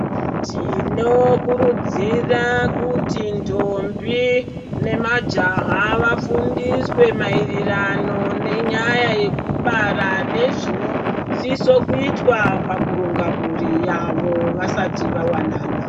Tinokurudzira kuti ndombi nemajaha vafundiswe maererano nenyaya yekubara nezvinosisa kuitwa pakuronga mhuri yavo vasati vawanana.